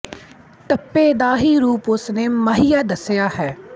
ਟੱਪੇ ਦਾ ਰੂਪ ਹੀ ਉਸ ਨੇ ਮਾਹੀਆ ਦੱਸਿਆ ਹੈ